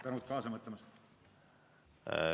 Tänan kaasa mõtlemast!